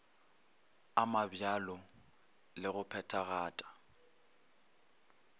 a mabjalo le go phethagata